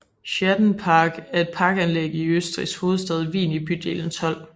Haydnpark er et parkanlæg i Østrigs hovedstad Wien i bydelen 12